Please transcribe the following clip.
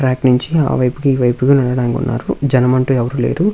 ప్రయత్నించి ఆ వైపుకి ఈ వైపుకి వెళ్లడం ఉన్నారు జనం అంటూ ఎవరు లేరు.